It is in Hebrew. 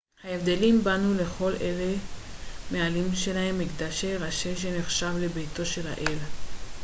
הבבלים בנו לכל אחד מהאלים שלהם מקדש ראשי שנחשב לביתו של האל